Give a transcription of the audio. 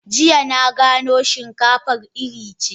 Jiya na gano shinkafar iri ce.